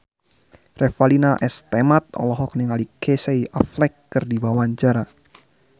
Revalina S. Temat olohok ningali Casey Affleck keur diwawancara